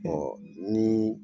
Ɔ nii